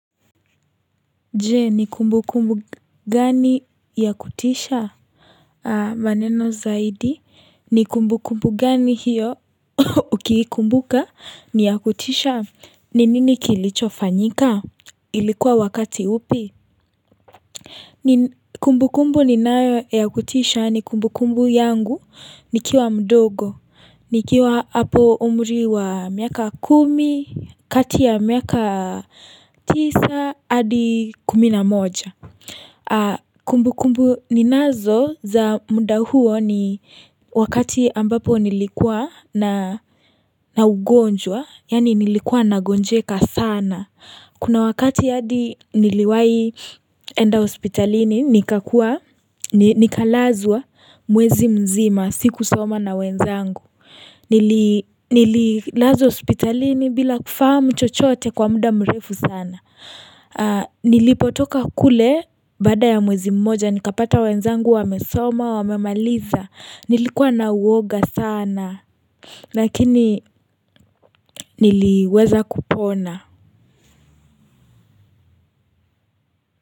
Je ni kumbu kumbu gani ya kutisha maneno zaidi ni kumbu kumbu gani hiyo ukiikumbuka ni ya kutisha ni nini kilicho fanyika ilikuwa wakati upi Kumbu kumbu ninayo ya kutisha ni kumbu kumbu yangu nikiwa mdogo nikiwa hapo umri wa miaka kumi kati ya miaka tisa hadi kumi na moja Kumbu kumbu ninazo za muda huo ni wakati ambapo nilikuwa na na ugonjwa yani nilikuwa nagonjeka sana Kuna wakati yadi niliwahi enda hospitalini, nikakuwa, nikalazwa mwezi mzima, sikusoma na wenzangu. Nililazwa hospitalini bila kufahamu chochote kwa muda mrefu sana. Nilipotoka kule baada ya mwezi mmoja, nikapata wenzangu wamesoma, wamemaliza. Nilikuwa na uoga sana, lakini niliweza kupona.